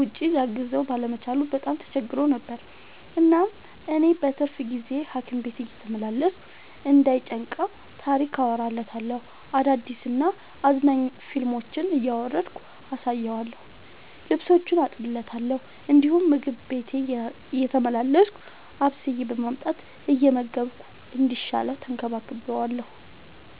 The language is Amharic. ውጪ ሊያግዘው ባለመቻሉ በጣም ተቸግሮ ነበር። እናም እኔ በትርፍ ጊዜዬ ሀኪም ቤት እየተመላለስኩ እንዳይ ጨንቀው ታሪክ አወራለታለሁ፤ አዳዲስ እና አዝናኝ ፊልሞችን እያወረድኩ አሳየዋለሁ። ልብሶቹን አጥብለታለሁ እንዲሁም ምግብ ቤቴ እየተመላለስኩ አብስዬ በማምጣት እየመገብኩ እስኪሻለው ተንከባክቤዋለሁ።